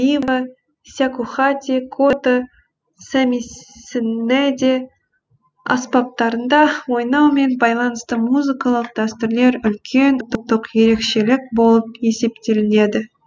бива сякухати кото сямисэнеде аспаптарында ойнаумен байланысты музыкалық дәстүрлер үлкен ұлттық ерекшелік болып есептелінеді